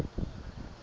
e le hore ba tle